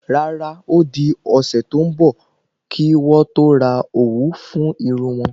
Rárá odi ósé to n bọ ki wọn to rà òwú fún Irún won